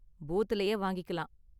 பூத்லயே வாங்கிக்கலாம்.